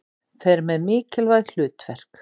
Fer með mikilvæg hlutverk.